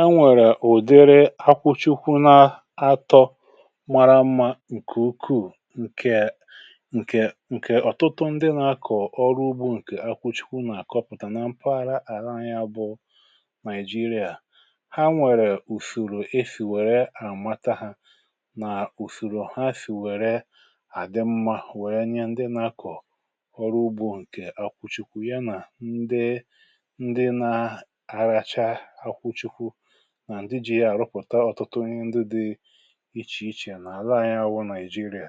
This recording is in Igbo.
a nwèrè ụ̀dịrị akwụchikwụ na-atọ mara mmȧ ǹkè ukwuù ǹkè ọ̀tụtụ ndị na-akọ̀ ọrụ ugbȯ ǹkè akwụchikwụ nà-àkọpụtà nà mpaghara àra anyiȧ bụ Naijiria nwèrè ùsìrì e sìwèrè àmata hȧ nà ùsìrì ha sìwèrè àdị mmȧ wèrè anyiȧ ndị nȧ-akọ̀ ọrụ ugbȯ ǹkè akwụchikwụ ya nà ndị ndị na-aracha nà ndị jì ya àrụpụ̀ta ọ̀tụtụ ihe ndị dị̇ ichè ichè nà-àla anyi àwụ nigeria